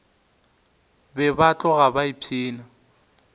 be ba tloga ba ipshina